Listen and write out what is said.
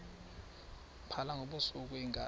phala ngobusuku iinkabi